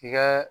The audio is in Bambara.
K'i ka